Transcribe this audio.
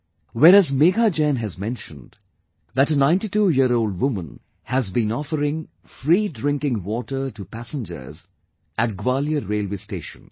Whereas Megha Jain has mentioned that a 92 year old woman has been offering free drinking water to passengers at Gwalior Railway Station